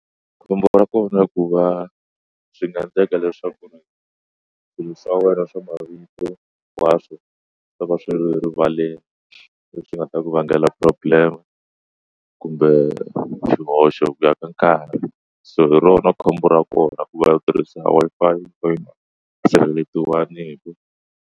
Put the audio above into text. Khombo ra kona ku va swi nga endleka leswaku swa wena swa mavito nkwaswo ta va swi rivaleni leswi nga ta ku vangela problem kumbe xihoxo ku ya ka nkarhi so hi rona khombo ra kona ku va u tirhisa Wi-Fi leyi yi nga sirhelelewangiki.